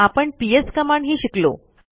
आपण पीएस कमांडही शिकलो